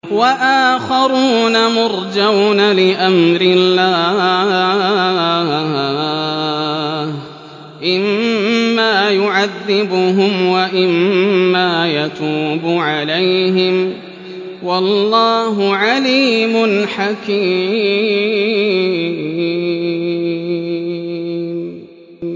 وَآخَرُونَ مُرْجَوْنَ لِأَمْرِ اللَّهِ إِمَّا يُعَذِّبُهُمْ وَإِمَّا يَتُوبُ عَلَيْهِمْ ۗ وَاللَّهُ عَلِيمٌ حَكِيمٌ